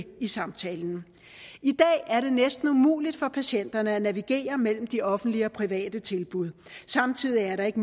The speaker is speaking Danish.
i samtalen i dag er det næsten umuligt for patienterne at navigere mellem de offentlige og private tilbud samtidig er det ikke